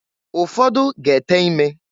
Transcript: Ụfọdụ ga-ete ime.